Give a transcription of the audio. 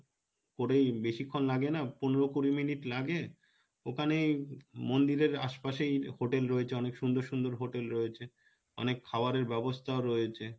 করেই বেশিক্ষণ লাগে না পনেরো কুড়ি minute লাগে ওখানেই মন্দিরের আশপাশেই hotel রয়েছে অনেক সুন্দর সুন্দর hotel রয়েছে অনেক খাওয়ারের ব্যবস্থাও রয়েছে,